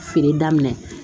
Feere daminɛ